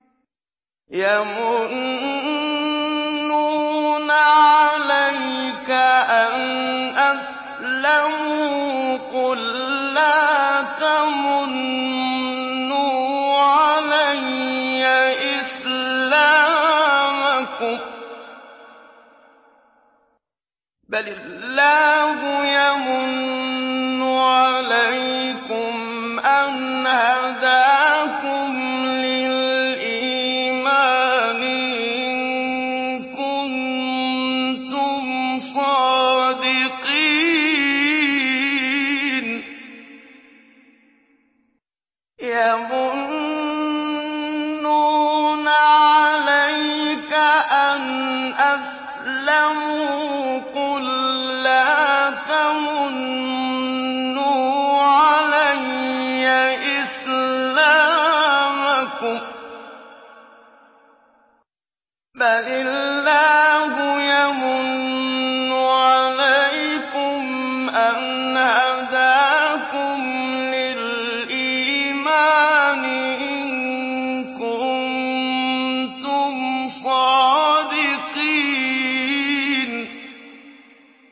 يَمُنُّونَ عَلَيْكَ أَنْ أَسْلَمُوا ۖ قُل لَّا تَمُنُّوا عَلَيَّ إِسْلَامَكُم ۖ بَلِ اللَّهُ يَمُنُّ عَلَيْكُمْ أَنْ هَدَاكُمْ لِلْإِيمَانِ إِن كُنتُمْ صَادِقِينَ